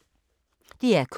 DR K